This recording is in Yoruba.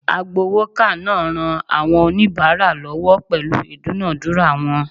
Agbowoka naa n ran awon onibara lowo pelu idunadura won